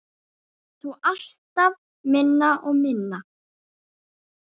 Þó alltaf minna og minna.